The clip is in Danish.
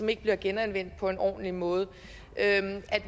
ikke bliver genanvendt på en ordentlig måde at